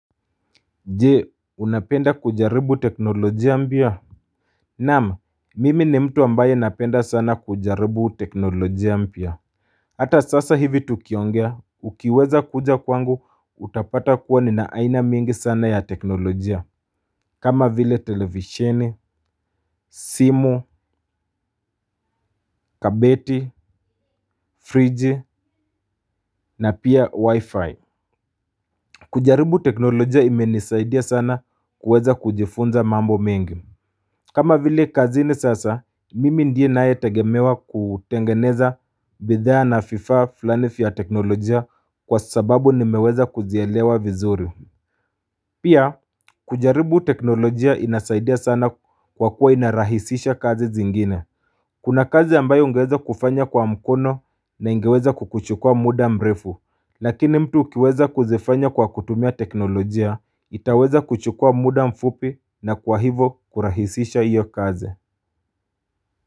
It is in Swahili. Je unapenda kujaribu teknolojia mpya. Naam mimi ni mtu ambaye napenda sana kujaribu teknolojia mpya. Hata sasa hivi tukiongea ukiweza kuja kwangu utapata kuwa ni naaina mingi sana ya teknolojia. Kama vile televisheni simu kabeti friji na pia wi-fi. Kujaribu teknolojia imenisaidia sana kuweza kujifunza mambo mingi. Kama vile kazi ni sasa, mimi ndiye na ye tegemewa kutengeneza bidhaa na vifaa fulani vya teknolojia kwa sababu nimeweza kuzielewa vizuri. Pia, kujaribu teknolojia inasaidia sana kwa kuwa inarahisisha kazi zingine. Kuna kazi ambayo ungeweza kufanya kwa mkono na ingeweza kukuchukua muda mrefu, lakini mtu ukiweza kuzifanya kwa kutumia teknolojia, itaweza kuchukua muda mfupi na kwa hivo kurahisisha iyo kazi.